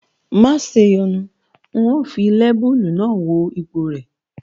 Maṣe yọnu n ó fi lẹ́bùlù náà wo ipọ̀ rẹ̀